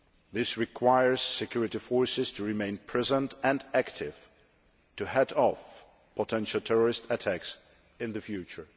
This requires security forces to remain present and active, to head off potential terrorist attacks in the future.